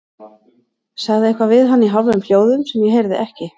Sagði eitthvað við hann í hálfum hljóðum sem ég heyrði ekki.